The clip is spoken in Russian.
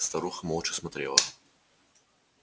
старуха молча смотрела